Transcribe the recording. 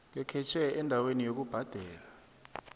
ngekhetjhe endaweni yokubhadela